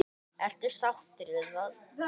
Ertu sáttur við það?